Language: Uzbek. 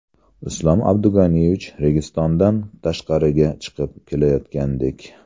Islom Abdug‘aniyevich Registondan tashqariga chiqib kelayotgandek.